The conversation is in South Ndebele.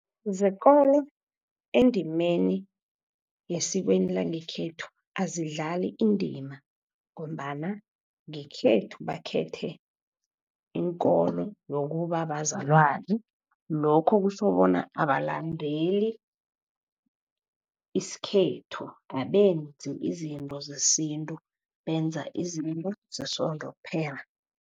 Zekolo endimeni yesikweni langekhethu azidlali indima, ngombana ngekhethu bakhethe ikolo yokubabazalwana. Lokho kutjho bona abalandeli isikhethu, abenzi izinto zesintu, benza izinto zesondo kuphela.